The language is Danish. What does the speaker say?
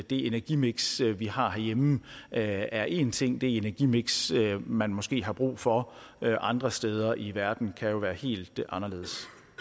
det energimiks vi har herhjemme er en ting det energimiks man måske har brug for andre steder i verden kan jo være helt anderledes